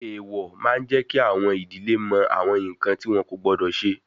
Èèwọ̀ máa jẹ kí àwọn ìdílé mọ awọn nkan ti wọn kò gbọdọ ṣe